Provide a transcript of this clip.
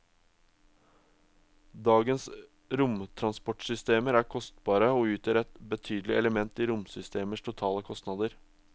Dagens romtransportsystemer er kostbare og utgjør et betydelig element i romsystemers totale kostnader.